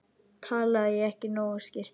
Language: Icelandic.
Talaði ég ekki nógu skýrt?